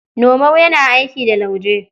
Nomau yana aiki da lauje.